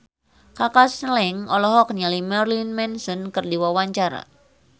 Kaka Slank olohok ningali Marilyn Manson keur diwawancara